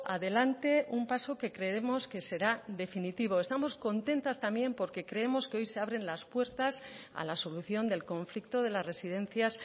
adelante un paso que creemos que será definitivo estamos contentas también porque creemos que hoy se abren las puertas a la solución del conflicto de las residencias